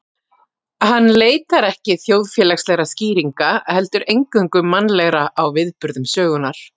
Hann leitar ekki þjóðfélagslegra skýringa, heldur eingöngu mannlegra á viðburðum sögunnar.